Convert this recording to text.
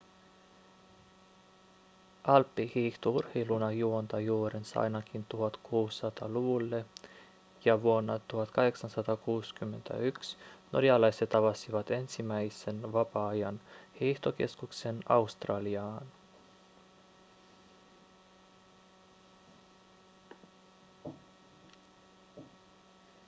alppihiihto urheiluna juontaa juurensa ainakin 1600-luvulle ja vuonna 1861 norjalaiset avasivat ensimmäisen vapaa-ajan hiihtokeskuksen australiaan